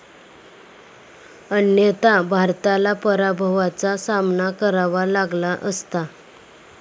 अन्यथा भारताला पराभवाचा सामना करावा लागला असता.